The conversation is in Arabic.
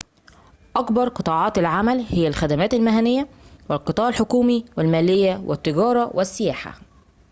أكبر قطاعات العمل هي الخدمات المهنيّة والقطاع الحكومي والماليّة والتجارة والسياحة